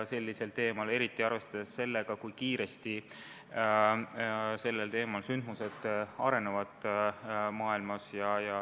Arvestada tuleb ju ka sellega, kui kiiresti sündmused selles valdkonnas arenevad.